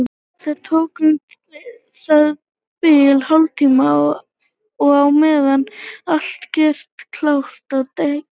Það tók um það bil hálftíma og á meðan var allt gert klárt á dekki.